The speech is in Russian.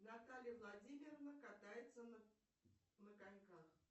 наталья владимировна катается на коньках